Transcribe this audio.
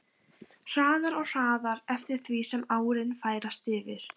Hraðar og hraðar eftir því sem árin færast yfir.